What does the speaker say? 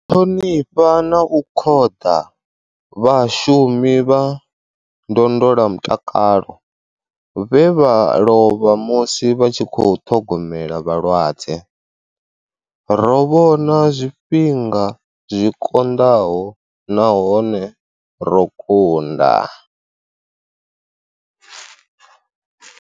Ṱhonifha na u khoḓa vhashumi vha ndondolamutakalo vhe vha lovha musi vha tshi khou ṱhogomela vhalwadze. Ro vhona zwifhinga zwi konḓaho nahone ro kunda.